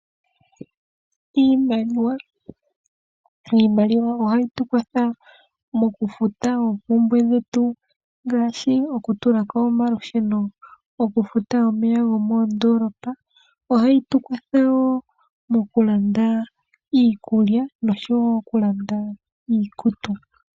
Iimaliwa ohayi tu kwatha mokufuta oompumbwe dhetu ngaashi oku tulako omalusheno oku futa omeya gomoondoolopa. Ohayi tu kwathele woo oku landa iikulya nosho woo oku landa iikutu.